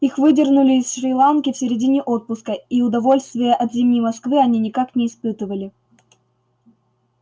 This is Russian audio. их выдернули из шри-ланки в середине отпуска и удовольствия от зимней москвы они никак не испытывали